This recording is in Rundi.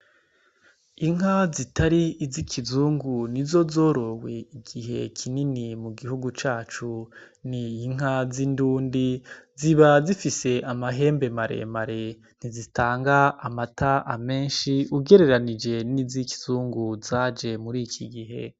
Inka zitari izi ikizungu nizo zorowe igihe kinini mu gihugu cacu, n'inka z'indundi ziba zifise amahembe maremare ntizitanga amata menshi ugereranije nizi ikizungu zanje muri iki gihe